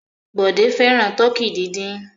Bọ̀dé fẹ́ràn tọkí dídín.